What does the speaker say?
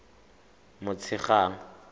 motshegang